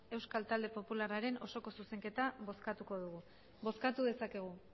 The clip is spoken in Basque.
euskal talde popularraren osoko zuzenketa bozkatuko dugu bozkatu dezakegu